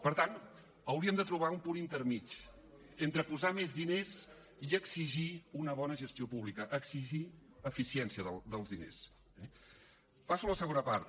per tant hauríem de trobar un punt intermedi entre posar més diners i exigir una bona gestió pública exigir eficiència dels diners eh passo a la segona part